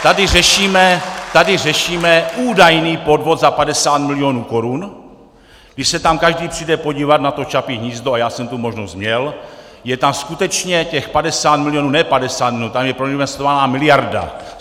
Tady řešíme údajný podvod za 50 milionů korun, když se tam každý přijde podívat na to Čapí hnízdo, a já jsem tu možnost měl, je tam skutečně těch 50 milionů, ne 50 milionů, tam je proinvestovaná miliarda.